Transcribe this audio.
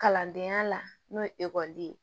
Kalandenya la n'o ye ekɔliden ye